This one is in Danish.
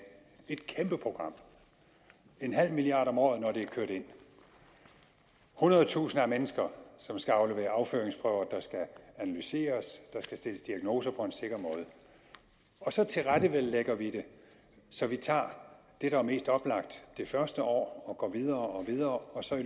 et kæmpe program en halv milliard om året når det er kørt ind hundredetusinder af mennesker som skal aflevere afføringsprøver der skal analyseres der skal stilles diagnoser på en sikker måde og så tilrettelægger vi det så vi tager det der er mest oplagt det første år og går videre og videre og så er